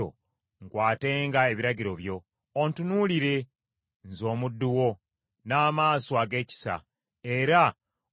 Ontunuulire, nze omuddu wo, n’amaaso ag’ekisa, era onjigirizenga amateeka go.